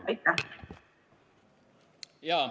... osalesid üritusel ja ...